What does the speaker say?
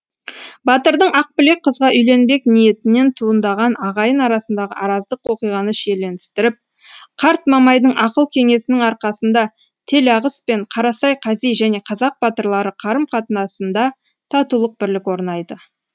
батырдың ақбілек қызға үйленбек ниетінен туындаған ағайын арасындағы араздық оқиғаны шиеленістіріп қарт мамайдың ақыл кеңесінің арқасында телағыс пен қарасай қази және қазақ батырлары қарым қатынасында татулық бірлік орнайды